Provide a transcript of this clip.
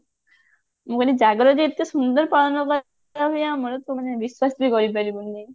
ମୁଁ କହିଲି ଜାଗର ଯେ ଏତେ ସୁନ୍ଦର ପାଳନ କରନ୍ତି ଆମର ତ ମାନେ ବିଶ୍ଵାସ ବି କରି ପାରିବୁନି